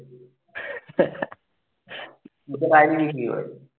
ID বিক্রি করে